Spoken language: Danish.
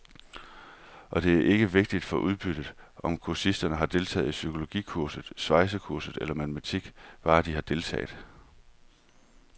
Og det er ikke vigtigt for udbyttet, om kursisterne har deltaget i psykologikursus, svejsekursus eller matematik, bare de har deltaget.